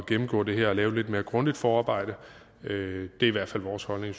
gennemgå det her og lave et lidt mere grundigt forarbejde det i hvert fald vores holdning i